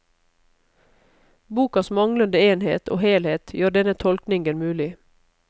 Bokas manglende enhet og helhet gjør denne tolkningen mulig.